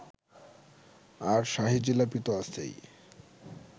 আর শাহী জিলাপিতো আছেই